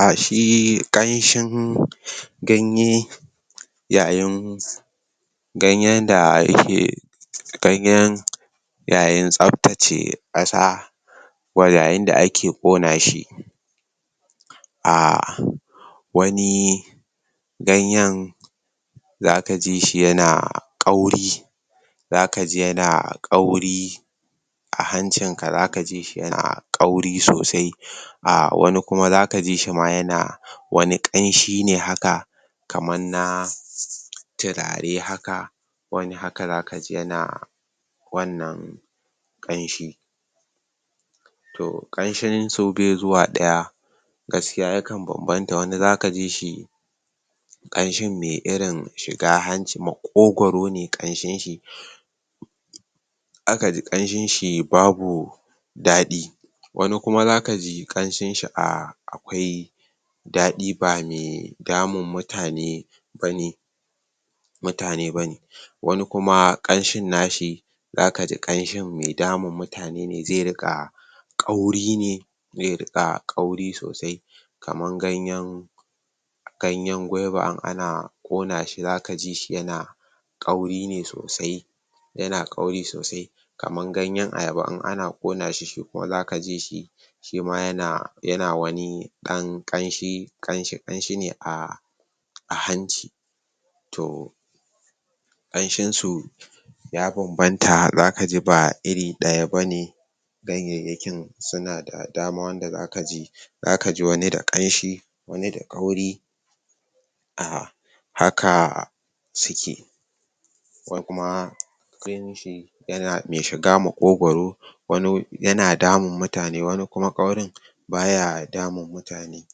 um shi ƙamsin ganye yayin ganyen da yake ganyen yayin tsaftace kasa wa yayin da ake ƙona shi um wani ganyen zaka ji shi yana ƙauri zaka ji yana ƙauri a hancin ka zaka ji shi yana ƙauri sosai um wani kuma zaka ji shi yana wani kamshi ne haka kaman na turare haka wani haka zaka ji yana wannan ƙamshi to ƙamshin su bai zuwa daya gaskiya ya kan banbanta wani zaka ji shi kamshin mai irin shiga hanci makogwaro ne kamshin shi zaka ji kamsin shi babu dadi wani kuma zaka ji kamshin shi um akwai dadi ba mai damun mutane bane, mutane bane wani kuma kanshin na shi zaka ji kamshin mai damun mutane ne zai ringa kauri ne zai ringa kauri sosai kaman ganyen, ganyen guiba in ana kona shi zaka ji shi yana kauri ne sosai yana kauri sosai kaman ganyen ayaba in ana ƙona shi kuma zaka ji shi shi ma yana yana wani dan kamshi kamshi a hanci toh, kamshin su ya bambanta zaka ji ba iri daya bane ganyeyyakin suna da dama wanda zaka ji zaka ji wani da kamshi wani da ƙauri um haka suke, wani kuma kanshin shi yana mai shiga makogwaro wani yana damun mutane wani kuma kaurin baya damun mutane,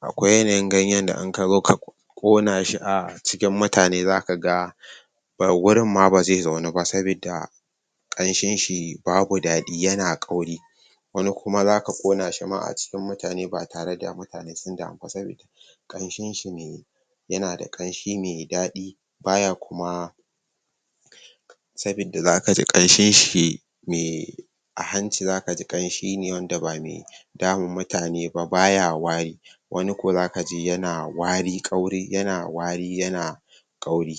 akwai yanayin ganyen da in kazo ka kona shi cikin mutane zaka ga gurin ma bazai zaunu ba sabida kamshin shi babu dadi yana kauri, wani kuma zaka kona shi ma a cikin mutane ba tare da mutane sun damu ba saboda kanshin shi yana da kamshi mai dadi baya kuma, sabida zaka ji kamshin shi mai a hanci zaka ji kanshi ne wanda ba mai damun mutane ba baya wari, wani kuma zaka ji yana wari, kauri yana wari, yana kauri.